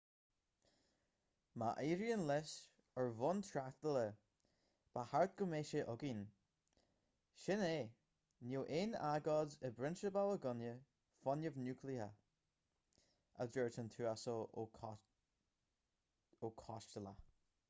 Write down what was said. má éiríonn leis ar bhonn tráchtála ba cheart go mbeadh sé againn sin é níl aon agóid i bprionsabal i gcoinne fuinneamh núicléach a dúirt an tuasal ó coisteala